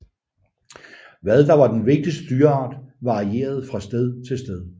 Hvad der var den vigtigste dyreart varierede fra sted til sted